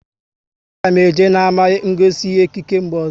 A ga m eje n'ama ngosi ihe ekike mgbe ọzọ